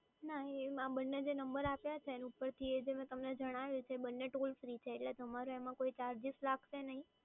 ના આ જે બંને નંબર આપ્યા છે ને ઉપરથી એ જે મેં તમને જણાવ્યું છે એ બંને ટોલ ફ્રી છે એટલે તમારે એમાં કોઈ ચાર્જીસ લાગશે નઈ